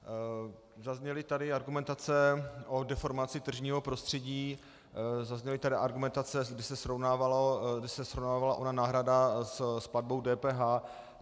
Zazněly tady argumentace o deformaci tržního prostředí, zazněly tady argumentace, kdy se srovnávala ona náhrada s platbou DPH.